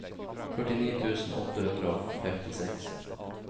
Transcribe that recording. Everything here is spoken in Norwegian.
førtini tusen åtte hundre og femtiseks